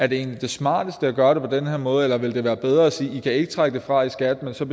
det egentlig det smarteste at gøre det på den her måde eller ville det være bedre at sige at de ikke kan trække det fra i skat men til